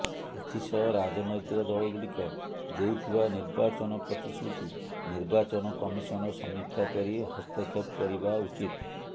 ଏଥିସହ ରାଜନ୘ତିକ ଦଳଗୁଡ଼ିକ ଦେଉଥିବା ନିର୍ବାଚନ ପ୍ରତିଶ୍ରୁତି ନିର୍ବାଚନ କମିସନ ସମୀକ୍ଷା କରି ହସ୍ତକ୍ଷେପ କରିବା ଉଚିତ୍